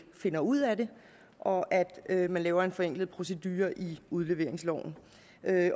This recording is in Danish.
finder ud af det og at at man laver en forenklet procedure i udleveringsloven